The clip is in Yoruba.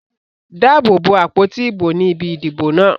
Dáàbò bo àpótí ìbò ní ibi ìdìbò náà.